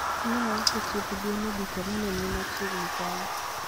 Ne auso chiemb gwen e duka ma ne ni machiegni kanyo.